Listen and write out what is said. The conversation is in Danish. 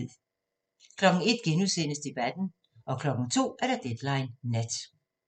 01:00: Debatten * 02:00: Deadline Nat